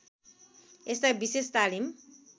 यस्ता विशेष तालिम